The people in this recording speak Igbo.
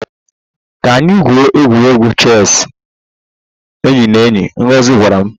Ka anyị gwuo egwuregwu chess enyi na enyi, Ngozi gwara m